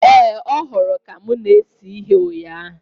Ee, ọ hụrụ ka m na-ese ihe ụnyaahụ